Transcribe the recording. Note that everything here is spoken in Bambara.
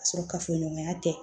Ka sɔrɔ kafoɲɔgɔnya tɛ